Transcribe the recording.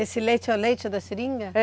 Esse leite é o leite da seringa? É.